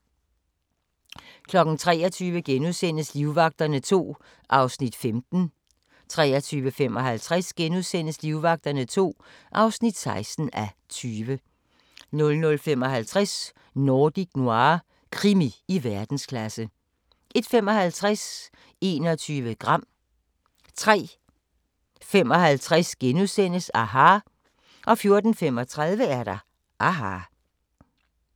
23:00: Livvagterne II (15:20)* 23:55: Livvagterne II (16:20)* 00:55: Nordic Noir – krimi i verdensklasse 01:55: 21 gram 03:55: aHA! * 04:35: aHA!